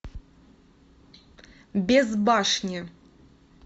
без башни